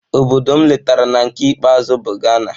Obodo m letara na nke ikpeazụ bụ Ghana.